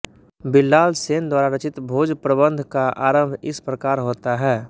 बिल्लाल सेन द्वारा रचित भोजप्रबन्ध का आरम्भ इस प्रकार होता है